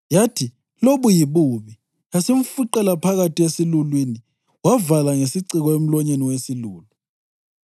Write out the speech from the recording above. Yathi, “Lobu yibubi,” yasimfuqela phakathi esilulwini wavala ngesiciko emlonyeni wesilulu.